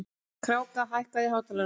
Kráka, hækkaðu í hátalaranum.